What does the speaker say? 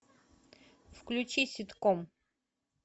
включи ситком